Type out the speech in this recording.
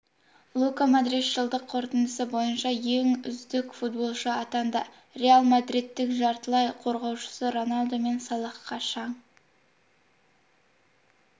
лука модрич жылдық қорытындысы бойынша үздік футболшы атанды реал мадридтің жартылай қорғаушысы роналду мен салахқа шаң